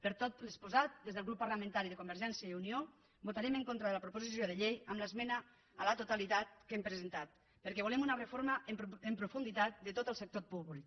per tot el que s’ha exposat des del grup parlamentari de convergència i unió votarem en contra de la proposició de llei amb l’esmena a la totalitat que hem presentat perquè volem una reforma en profunditat de tot el sector públic